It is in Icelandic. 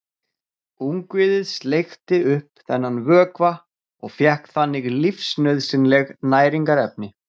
Ungviðið sleikti upp þennan vökva og fékk þannig lífsnauðsynleg næringarefni.